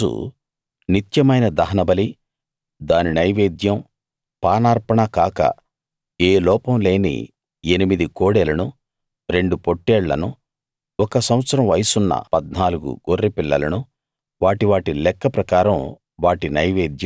ఆరో రోజు నిత్యమైన దహనబలి దాని నైవేద్యం పానార్పణ కాక ఏ లోపం లేని ఎనిమిది కోడెలను రెండు పొట్టేళ్లను ఒక సంవత్సరం వయసున్న 14 గొర్రెపిల్లలను వాటి వాటి లెక్క ప్రకారం